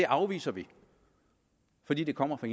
afviser vi fordi det kommer fra